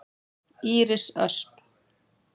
Íris Ösp.